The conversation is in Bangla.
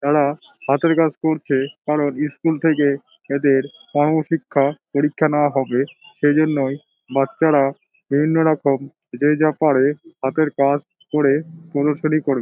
তারা হাতের কাজ করছে কারণ ইস্কুল থেকে এদের কর্মশিক্ষা পরীক্ষা নেওয়া হবে। সেজন্যই বাচ্চারা বিভিন্ন রকম যে যা পারে হাতের কাজ করে --